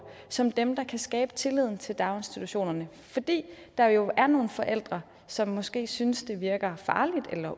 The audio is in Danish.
som dem der kan skabe tilliden til daginstitutionerne fordi der jo er nogle forældre som måske synes det virker farligt